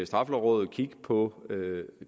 straffelovrådet kigge på